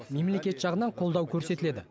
мемлекет жағынан қолдау көрсетіледі